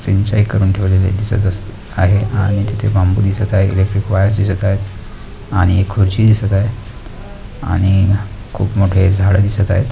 सिंचाई करून ठेवलेले दिसत अस आहे आणि तिथे बांबू दिसत आहे इलेक्ट्रिक वायर दिसत आहेत आणि एक खुर्ची दिसत आहे आणि खूप मोठे झाडं दिसत आहेत.